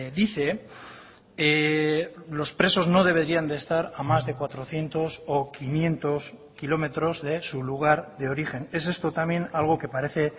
dice los presos no deberían de estar a más de cuatrocientos o quinientos kilómetros de su lugar de origen es esto también algo que parece